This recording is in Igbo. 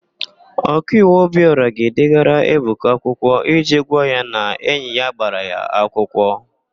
Okaiwu Obịọra ga-edegara Ebuka akwụkwọ iji gwa ya na enyi ya gbara ya akwụkwọ.